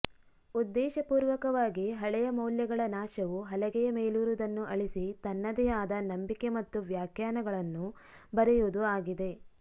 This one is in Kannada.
ಉದ್ದೇಶಪೂರ್ವಕವಾಗಿ ಹಳೆಯ ಮೌಲ್ಯಗಳ ನಾಶವು ಹಲಗೆಯ ಮೇಲಿರುವುದನ್ನು ಅಳಿಸಿ ತನ್ನದೇ ಆದ ನಂಬಿಕೆ ಮತ್ತು ವ್ಯಾಖ್ಯಾನಗಳನ್ನು ಬರೆಯುವುದು ಆಗಿದೆ